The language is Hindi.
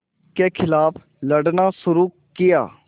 के ख़िलाफ़ लड़ना शुरू किया